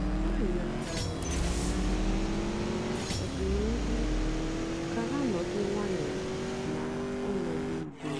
ha nyòchàra òlìlè ànyá maka ọ̀dị̀nihú kà ha nọ̀ ọ́dụ́ nwayọ́ ná ọnọ́dụ́ ùdò.